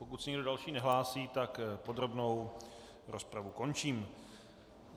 Pokud se nikdo další nehlásí, tak podrobnou rozpravu končím.